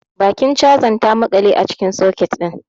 Bakin chazan ta maƙale a cikin soket din.